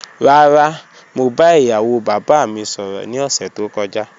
Rara, mo ba iyawo baba mi sọrọ ni ọsẹ to kọja